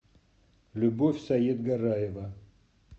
любовь саетгараева